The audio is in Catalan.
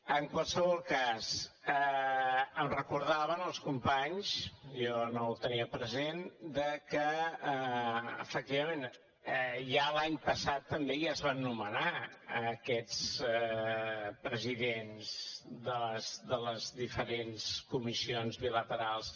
en qualsevol cas em recordaven els companys jo no ho tenia present que efectivament ja l’any passat també es van nomenar aquests presidents de les diferents comissions bilaterals